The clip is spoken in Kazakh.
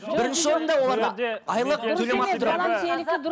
бірінші орында оларда айлық төлемақы тұрады